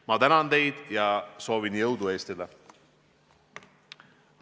Ma tänan teid ja soovin jõudu Eestile!